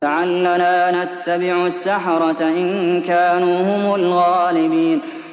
لَعَلَّنَا نَتَّبِعُ السَّحَرَةَ إِن كَانُوا هُمُ الْغَالِبِينَ